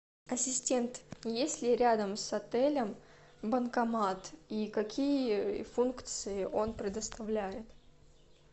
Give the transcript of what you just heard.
ассистент есть ли рядом с отелем банкомат и какие функции он предоставляет